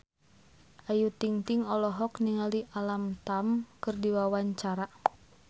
Ayu Ting-ting olohok ningali Alam Tam keur diwawancara